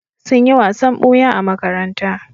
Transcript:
Sun yi wasan ɓuya a makaranta.